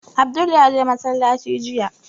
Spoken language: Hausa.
Abdul ya je masallaci jiya